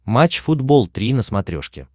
матч футбол три на смотрешке